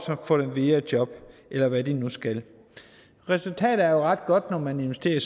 få dem videre i job eller hvad de nu skal resultatet er ret godt når man investerer i